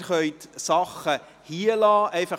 Sie können Ihre Sachen deshalb hier lassen.